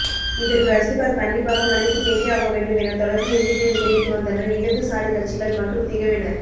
இதற்கு ரஜினிகாந்த் கண்டிப்பாக மன்னிப்பு கேட்டே ஆகவேண்டும் என தொடர்ந்து எதிர்ப்பை தெரிவித்து வந்தனர் இடதுசாரி கட்சிகள் மற்றும் திகவினர்